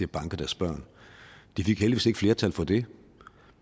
banke deres børn de fik heldigvis ikke flertal for det